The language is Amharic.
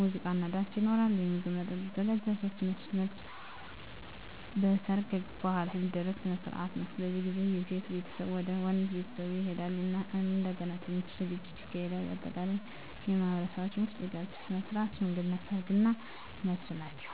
ሙዚቃና ዳንስ ይኖራል፣ ምግብና መጠጥ ይዘጋጃል። 3. መልስ መልስ በሰርግ በኋላ የሚደረግ ሥነ ሥርዓት ነው። በዚህ ጊዜ የሴት ቤተሰብ ወደ ወንድ ቤተሰብ ይሄዳሉ እና እንደገና ትንሽ ዝግጅት ይካሄዳል። በአጠቃላይ በማኅበረሰባችን ውስጥ የጋብቻ ሥነ ሥርዓቶች ሽምግልና፣ ሰርግ እና መልስ ናቸው።